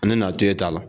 Ale n'a to e ta la